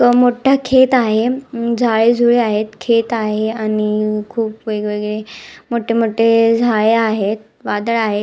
अ मोठा खेत आहे अ झाळेझुळे आहेत खेत आहे आणि खुप वेगवेगळे मोठे मोठे अ झाळे आहे वादळ आहे.